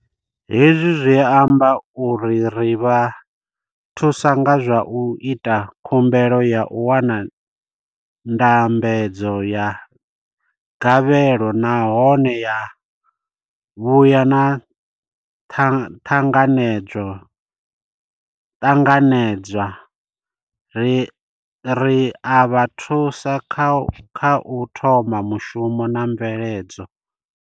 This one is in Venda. Hezwi zwi amba uri ri vha thusa nga zwa u ita khumbelo ya u wana ndambedzo ya gavhelo nahone ya vhuya na ṱanganedzwa, ri a vha thusa kha u thoma mushumo na mveledzo.